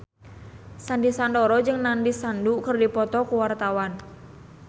Sandy Sandoro jeung Nandish Sandhu keur dipoto ku wartawan